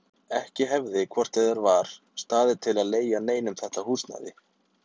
Ekki hefði hvort eð var staðið til að leigja neinum þetta húsnæði.